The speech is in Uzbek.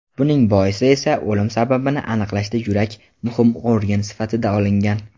Buning boisi esa o‘lim sababini aniqlashda yurak muhim organ sifatida olingan.